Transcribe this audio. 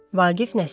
Vaqif Nəsib.